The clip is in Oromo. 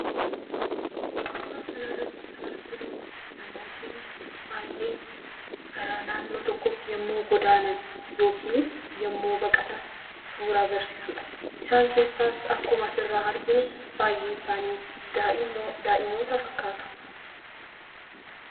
Suuraa kanarratti kan arginu namootii baay'ee gara naannoo tokkootti yommuu godaanan yookiinis yommuu baqatan suuraa agarsiisudha. Isaan keessaas akkuma asirraa arginu baay'een isaanii daa'ima fakkaatu.